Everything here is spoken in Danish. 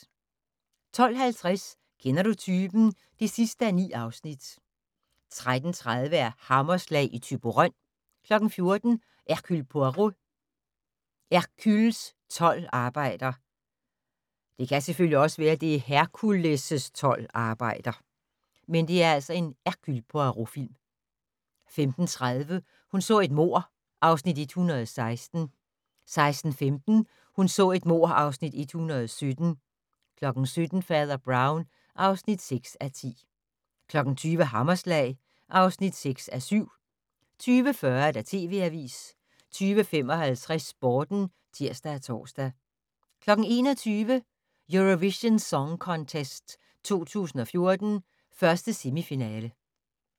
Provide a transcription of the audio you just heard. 12:50: Kender du typen? (9:9) 13:30: Hammerslag i Thyborøn 14:00: Hercule Poirot: Hercules' tolv arbejder 15:30: Hun så et mord (Afs. 116) 16:15: Hun så et mord (Afs. 117) 17:00: Fader Brown (6:10) 20:00: Hammerslag (6:7) 20:40: TV Avisen 20:55: Sporten (tir og tor) 21:00: Eurovision Song Contest 2014, 1. semifinale